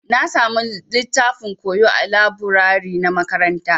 Na samu littafin koyo ã laburare na makaranta.